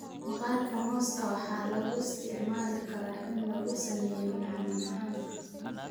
Maqaarka mooska waxa lagu isticmaali karaa in lagu sameeyo macmacaanka.